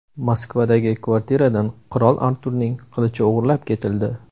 Moskvadagi kvartiradan qirol Arturning qilichi o‘g‘irlab ketildi.